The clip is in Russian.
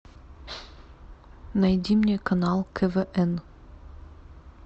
найди мне канал квн